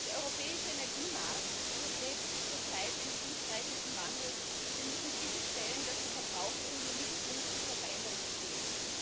Herr Präsident! Der europäische Energiemarkt durchlebt zurzeit einen tiefgreifenden Wandel und wir müssen sicherstellen, dass die VerbraucherInnen im Mittelpunkt dieser Veränderung stehen.